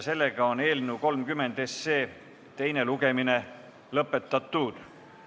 Eelnõu 30 teine lugemine on lõppenud.